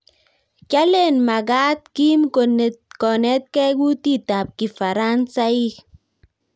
Kyalen magaat Kim konetgei kutitab kifaransaik